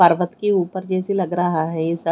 परबत के ऊपर जैसी लग रहा है ऐसा--